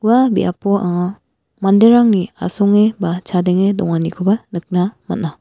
ua biapo anga manderangni asonge ba chadenge donganikoba nikna man·a.